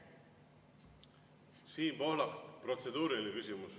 Siim Pohlak, protseduuriline küsimus.